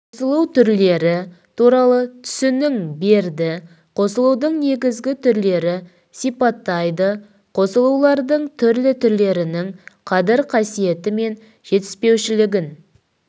қосылу түрлері туралы түсінің береді қосылудың негізгі түрлері сипаттайды қосылулардың түрлі түрлерінің қадір қасиеті мен жетіспеушілігін